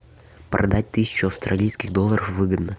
продать тысячу австралийских долларов выгодно